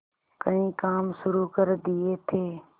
कई काम शुरू कर दिए थे